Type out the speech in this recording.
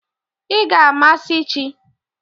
Ị ga-amasị chi!